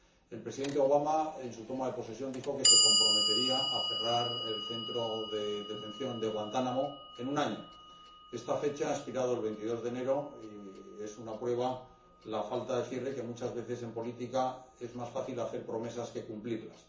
El Presidente Obama, en su toma de posesión, dijo que se comprometía a cerrar el centro de detención de Guantánamo en un año. Este plazo expiró el 22 de enero y la falta de cierre es una prueba de que, muchas veces, en política, es más fácil hacer promesas que cumplirlas.